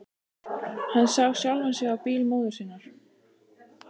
Hann sá sjálfan sig á bíl móður sinnar.